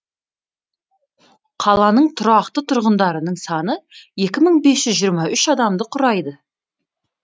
қаланың тұрақты тұрғындарының саны екі мың бес жүз жиырма үш адамды құрайды